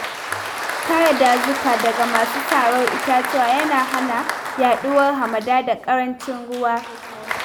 Kare dazuka daga masu sarar itatuwa yana hana yaɗuwar hamada da ƙarancin ruwa.